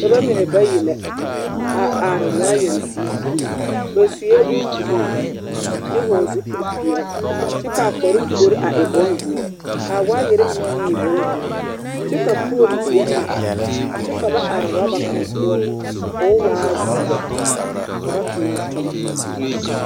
Dɔbɔ mine bayi la a are waayɛre zie ba sue bombuluu kyɛ hɔɔle zupilipeɛle kyɛ ka a kparoo puori a e bondoɔ ka a waayɛr mine meŋ e bondoɔ kyɛ ka pooli teɛ a are kyɛ ka ba are urɔba kaŋ poɔ ko o waa zeɛ ka ba tona a toma.